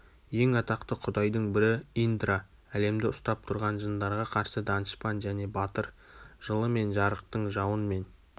ең атақты құдайдың бірі индра әлемді үстап тұрған жындарға қарсы данышпан және батыр жылы мен жарықтың жауын мен